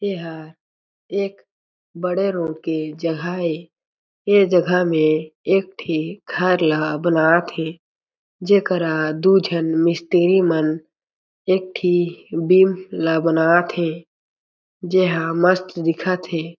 एहा एक बड़े रोट के जगह ए ये जगह में एक ठी घर ल बनात हे जेकरा दो जन मिस्त्री मन एक ठी बीम ला बनात हे जे हा मस्त दिखत हे।